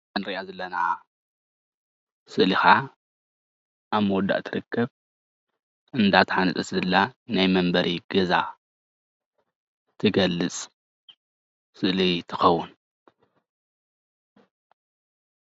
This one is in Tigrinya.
እንሪኣ ዘለና ስእሊ ኸዓ ኣብ ምውዳእ ትርከብ አንዳተሃነጸት ዘላ ናይ መንበሪ ገዛ ትገልጽ ስእሊ ትኸውን።